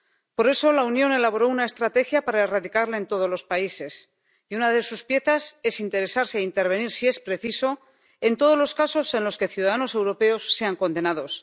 Por eso la Unión elaboró una estrategia para erradicarla de todos los países, y una de sus piezas es interesarse, e intervenir si es preciso, en todos los casos en los que ciudadanos europeos sean condenados.